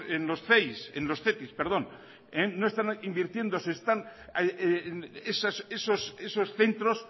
cetis esos centros